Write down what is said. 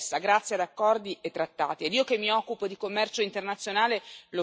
Questo avviene dentro l'Europa e fuori da essa, grazie ad accordi e trattati.